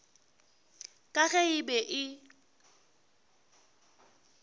ka ge e be e